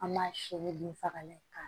An b'a siri bin fagalan kɛ k'a